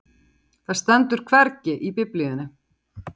Það stendur hvergi í Biblíunni.